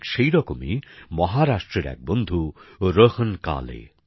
ঠিক সেরকমই মহারাষ্ট্রের এক বন্ধু রোহন কালে